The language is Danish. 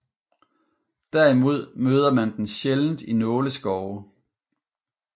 Derimod møder man den sjældent i nåleskove